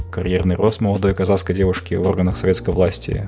карьерный рост молодой казахской девушки в органах советской власти